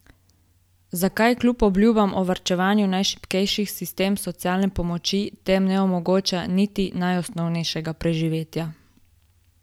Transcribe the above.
Zakaj kljub obljubam o varovanju najšibkejših sistem socialne pomoči tem ne omogoča niti najosnovnejšega preživetja?